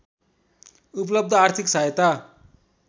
उपलब्ध आर्थिक सहायता